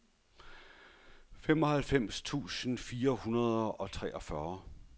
femoghalvfems tusind fire hundrede og treogfyrre